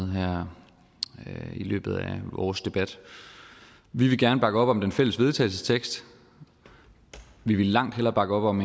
her i løbet af vores debat vi vil gerne bakke op om det fælles vedtagelse vi ville langt hellere bakke op om